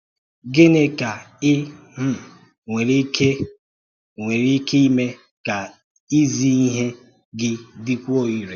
Gịnị ka ì um nwere ike nwere ike ịme ka ị́zì ihe gị dịkwuo irè?